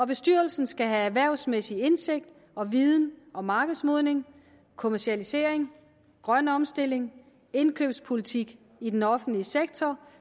bestyrelsen skal have erhvervsmæssig indsigt og viden om markedsmodning kommercialisering grøn omstilling indkøbspolitik i den offentlige sektor